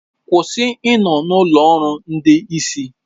Kwụsị ịnọ na ụlọ ọrụ ndị isi